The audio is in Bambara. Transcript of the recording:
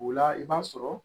O la i b'a sɔrɔ